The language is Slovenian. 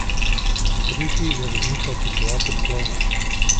Tretji je voznika opisoval kot klovna.